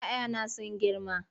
"ya 'ya na sun girma.